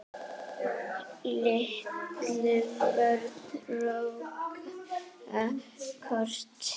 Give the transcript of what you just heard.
Litlu börnin róa kort.